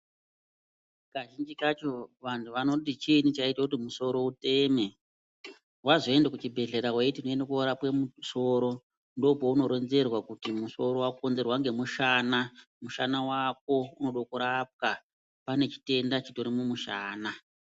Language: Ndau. Kazhinji kacho vantu vanoti chiini chaite kuti musoro uteme. Vazoende kuchibhedhlera veiti unoende korapwe musoro ndopaunoronzerwa kuti musoro vakonzerwa ngemushana. Mushana vako unode kurapwa pane chitenda chitori mumushana.